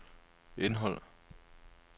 indhold